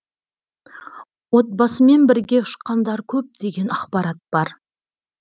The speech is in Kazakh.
отбасымен бірге ұшқандар көп деген ақпарат бар